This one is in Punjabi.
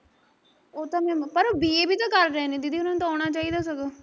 ਉਹ ਤਾਂ ਮੈਂ ਪਰ b. a ਵੀ ਤਾਂ ਕਰ ਰਹੇ ਨੇ ਦੀਦੀ ਉਹਨਾਂ ਨੂੰ ਤਾਂ ਆਉਣਾ ਚਾਹੀਦਾ ਸਗੋਂ